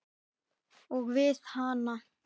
Og við hana.